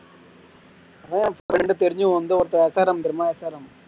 எனக்கு தெரிஞ்சு வந்து ஒருத்த SRM தெரியுமா SRM